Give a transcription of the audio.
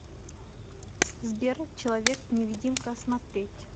сбер человек невидимка смотреть